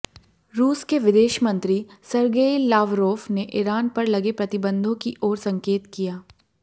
रूस के विदेशमंत्री सरगेई लावरोफ ने ईरान पर लगे प्रतिबंधों की ओर संकेत किया